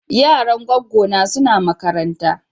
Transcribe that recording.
Yaran gwaggo na suna makaranta.